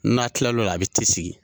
N'a kila la o la, a be sigi.